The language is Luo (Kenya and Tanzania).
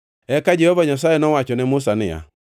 Eka Jehova Nyasaye nowacho ne Musa niya,